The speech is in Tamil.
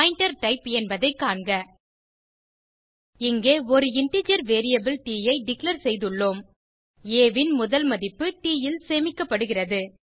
பாயிண்டர் டைப் என்பதைக் காண்க இங்கே ஒரு இன்டிஜர் வேரியபிள் ட் ஐ டிக்ளேர் செய்துள்ளோம் ஆ ன் முதல் மதிப்பு ட் ல் சேமிக்கப்படுகிறது